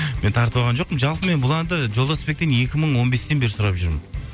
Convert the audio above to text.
мен тартып алған жоқпын жалпы мен бұл әнді жолдасбектен екі мың он бестен бері сұрап жүрмін